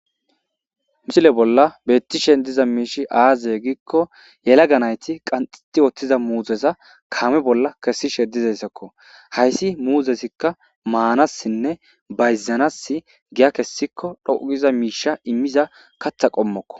misile bolla bettishen diza miishi aazaye giikko yelaga nayti qanxiti ooththiza muuzeza kaame bolla kessishe dizesakko hayssi muuzesikka maanassinne bayzanas giya kessikko dhougiza miisha immiza katha qommokko